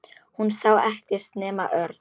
Hún sá ekkert nema Örn.